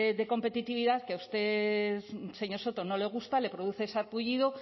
de competitividad que a usted señor soto no le gusta le produce sarpullido